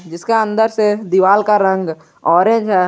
जिसका अन्दर से दीवाल का रंग ऑरेंज है।